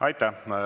Aitäh!